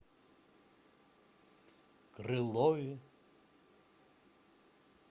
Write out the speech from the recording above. крылове